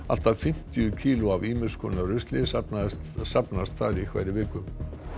allt að fimmtíu kíló af ýmis konar rusli safnast safnast þar í hverri viku